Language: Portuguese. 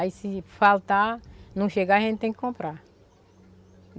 Aí se faltar, não chegar, a gente tem que comprar.